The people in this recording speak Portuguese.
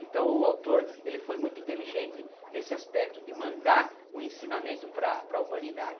Então o autor ele foi muito inteligente nesse aspecto de mandar um ensinamento para para a humanidade.